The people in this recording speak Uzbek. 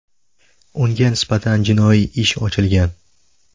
Unga nisbatan jinoiy ish ochilgan.